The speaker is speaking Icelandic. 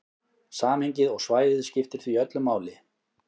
Samhengið og svæðið skiptir því öllu máli.